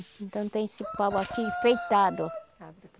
Então tem esse pau aqui, enfeitado.